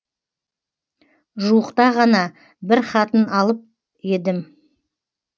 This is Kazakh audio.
жуықта ғана бір хатын алып едім